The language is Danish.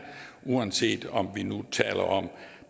uanset om vi nu taler om